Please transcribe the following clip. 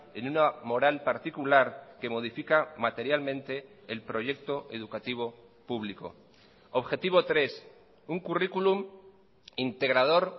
en una moral particular que modifica materialmente el proyecto educativo público objetivo tres un currículum integrador